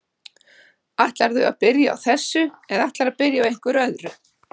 Ætlarðu að byrja á þessu eða ætlarðu að byrja á einhverju öðru?